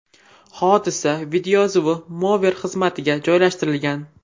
Hodisa videoyozuvi Mover xizmatiga joylashtirilgan .